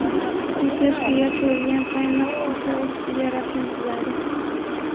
U chashkaga quyilgan qaynoq qahva ustiga rasm chizadi.